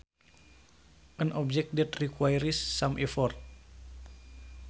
An object that requires some effort